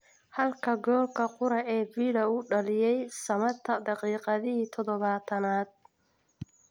Halka goolka qura ee Villa uu u dhaliyay Samatta daqiiqadii todobatan-aad.